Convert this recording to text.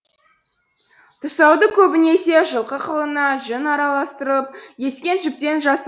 тұсауды көбінесе жылқы қылына жүн араластырып ескен жіптен жаса